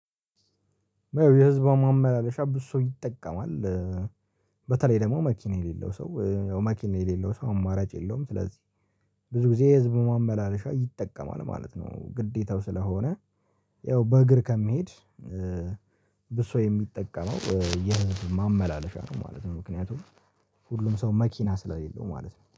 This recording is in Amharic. የህዝብ ማመላለሻ ብዙ ይጠቀማል በተለይ ደግሞ መኪና የሌለው ሰው መኪና የሌለው ሰው አማራጭ የለውም። ስለዚህ ብዙ ጊዜ ህዝብ ማመላለሻ ይጠቀማል ማለት ነው። ግዴታው ስለሆነ ያው በእግር ከመሄድ ብዙ ሰው የሚጠቀመው የህዝብ ማመላለሻ ነው ማለት ነው። ምክንያቱም ሁሉም ሰው መኪና ስለሌለው ማለት ነው